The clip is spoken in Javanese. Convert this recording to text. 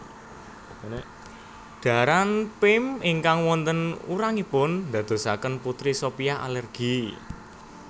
Dhaharan Pim ingkang wonten urangipun ndadosaken Putri Sophia alergi